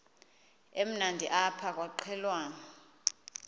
emnandi apha kwaqhelwana